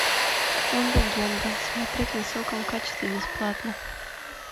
он легенда смотреть в высоком качестве бесплатно